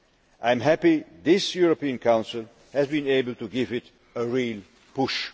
I am happy that this European Council has been able to give it a real push.